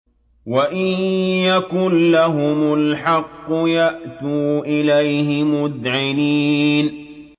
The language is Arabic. وَإِن يَكُن لَّهُمُ الْحَقُّ يَأْتُوا إِلَيْهِ مُذْعِنِينَ